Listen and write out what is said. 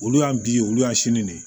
Olu y'an bi olu y'an sini ne ye